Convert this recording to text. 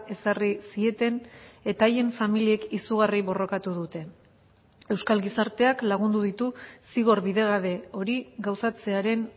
ezarri zieten eta haien familiek izugarri borrokatu dute euskal gizarteak lagundu ditu zigor bidegabe hori gauzatzearen